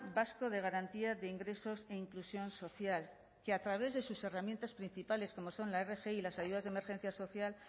vasco de garantía de ingresos e inclusión social que a través de sus herramientas principales como son la rgi y las ayudas de emergencia social